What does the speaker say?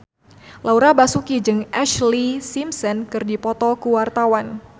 Laura Basuki jeung Ashlee Simpson keur dipoto ku wartawan